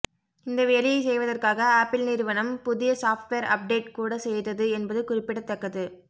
இந்த வேலையை செய்வதற்காக ஆப்பிள் நிறுவனம் புதிய சாப்ட்வேர் அப்டேட் கூட செய்தது என்பது குறிப்பிடத்தக்கது